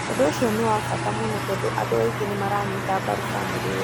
"ũndũ ũcio nĩ wa mbata mũno tondũ andũ aingĩ nĩmaranyita mbaru bamĩrĩ ĩyo"